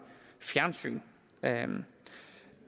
fjernsyn